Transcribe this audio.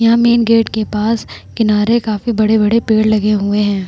यहाँ main gate के पास किनारे काफी बड़े-बड़े पेड़ लगे हुए है ।